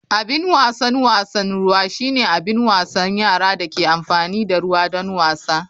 Abin wasan wasan ruwa shine abin wasan yara da ke amfani da ruwa don wasa.